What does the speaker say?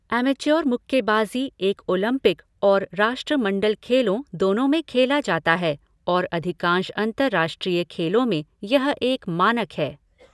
Amateur मुक्केबाजी एक Olympic और राष्ट्रमंडल खेलों, दोनों में खेला जाता है और अधिकांश अंतरराष्ट्रीय खेलों में यह एक मानक है।